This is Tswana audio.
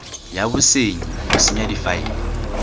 ya bosenyi go senya difaele